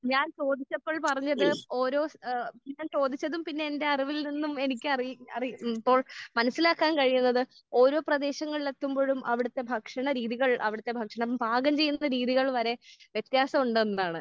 ഞാൻ ചോദിച്ചപ്പോൾ പറഞ്ഞത് ഓരോ ഏഹ് ഞാൻ ചോദിച്ചതും പിന്നെ എന്റെ അറിവിൽ നിന്നും എനിക്ക് എനിക്കറിയി ഇപ്പോൾ മനസ്സിലാക്കാൻ കഴിയുന്നത് ഓരോ പ്രദേശങ്ങളിലെത്തുമ്പോഴും അവിടുത്തെ ഭക്ഷണ രീതികൾ അവിടുത്തെ ഭക്ഷണം പാകം ചെയ്യുന്ന രീതികൾ വരെ വ്യത്യാസമുണ്ട് എന്നതാണ്.